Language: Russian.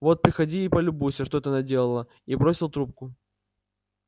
вот приходи и полюбуйся что ты наделала и бросил трубку